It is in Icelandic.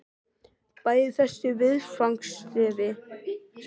Bæði þessi viðfangsefni eru fyrirsjáanlega erfið, sérstaklega þó það síðarnefnda.